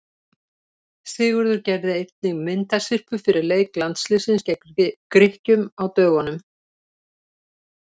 Sigurður gerði einnig myndasyrpu fyrir leik landsliðsins gegn Grikkjum á dögunum.